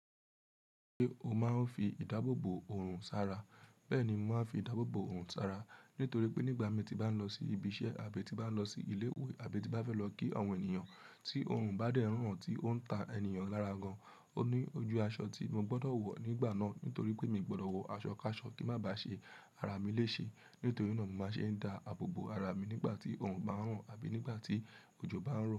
Pé ó máa ń fi ìdáàbò bò òrùn sára, bẹ́ẹ̀ni mo máa ń fi ìdáàbò bò òrùn sára nítorí pé nígbà mi ti bá ń lọ sí ibi iṣẹ́ àbí tí bá ń lọ sí ilé ìwé àbí tí bá fẹ́ lọ kí àwọn ènìyàn tí òrùn bá dé n ran tí ó ń ta ènìyàn lára gan, o ní ojú aṣọ tí mo gbọ́dọ̀ wọ̀ nígbà náà nítorí pé mi ò gbọ́dọ̀ wọ aṣọ káṣọ kí má bà ṣe ara mi léṣe. Nítorí náà mo máa ń ṣe dá àbò bò ara mi nígbà tí òrùn bá ń ran àbí nígbà tí òjò bá ń ran.